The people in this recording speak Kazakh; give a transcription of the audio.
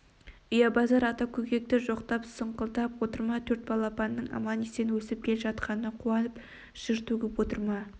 ұябасар ата көкекті жоқтап сұңқылдап отыр ма төрт балапанының аман-есен өсіп келе жатқанына қуанып жыр төгіп отыр ма